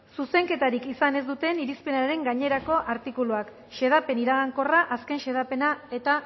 zuzenketarik izan ez duten irizpenaren gainerako artikuluak xedapen iragankorra azken xedapena eta